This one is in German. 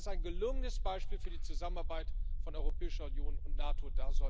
Das ist ein gelungenes Beispiel für die Zusammenarbeit von Europäischer Union und NATO.